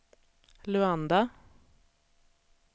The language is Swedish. Luanda